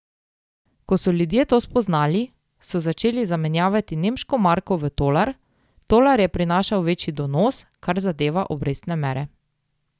Ko so ljudje to spoznali, so začeli zamenjevati nemško marko v tolar, tolar je prinašal večji donos, kar zadeva obrestne mere.